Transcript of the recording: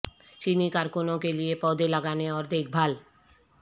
چینی کارکنوں کے لئے پودے لگانے اور دیکھ بھال